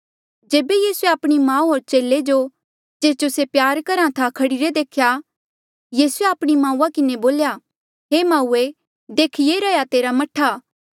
जेबे यीसूए आपणी माऊ होर चेले जो जेस जो से प्यार करहा था खड़ीरे देख्या यीसूए आपणी माउआ किन्हें बोल्या हे माऊए देख ये रैंहयां तेरा मह्ठा